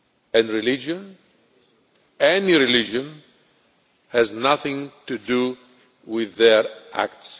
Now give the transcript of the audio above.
and religion any religion has nothing to do with their acts.